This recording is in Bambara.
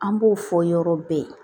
An b'o fɔ yɔrɔ bɛɛ